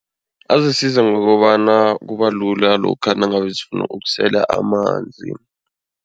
Azokusiza ngokobana kubalula lokha nangabe zifuna ukusela amanzi.